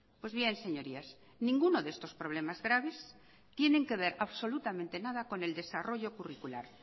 pues bien señorías ninguno de estos problemas graves tienen que ver absolutamente nada con el desarrollo curricular